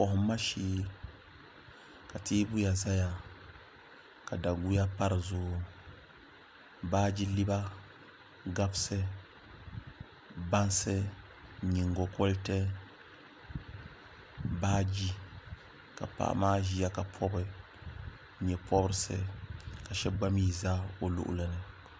kohamma shee ka teebuya ʒɛya ka daguya pa dizuɣu baaji liba gabisi bansi nyingokoriti baaji ka paɣa maa ʒiya ka pobi nyɛ pobirisi ka shab gba mii ʒɛ o luɣuli ni